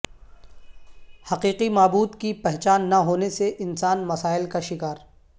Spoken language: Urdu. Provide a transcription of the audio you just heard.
حقیقی معبود کی پہچان نہ ہونے سے انسان مسائل کا شکار